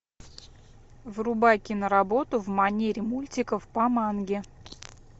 врубай киноработу в манере мультиков по манге